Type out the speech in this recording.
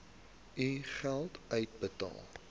u geld uitbetaal